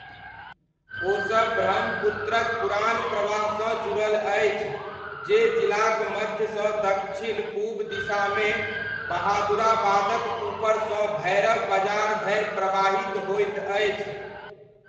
ओसब ब्रह्मपुत्रक पुरान प्रवाहसँ जुड़ल अछि जे जिलाक मध्यसँ दक्षिण पूब दिशामे बहादुराबादक ऊपरसँ भैरब बजार धरि प्रवाहित होइत अछि।